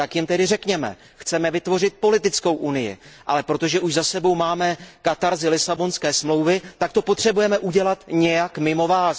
Tak jim řekněme Chceme vytvořit politickou unii, ale protože už za sebou máme katarzi Lisabonské smlouvy, tak to potřebujeme udělat nějak mimo vás.